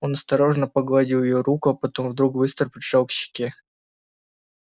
он осторожно погладил её руку а потом вдруг быстро прижал к щеке